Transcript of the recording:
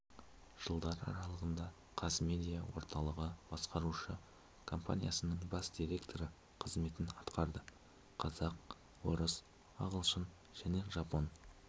жылдар аралығында қазмедиа орталығы басқарушы компаниясының бас директоры қызметін атқарды қазақ орыс ағылшын және жапон